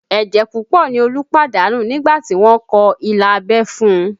Ẹ̀jẹ̀ púpọ̀ ni Olú pàdánù nígbà tí wọ́n kọ ilà abẹ́ fún un